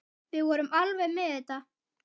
Við vorum alveg með þetta.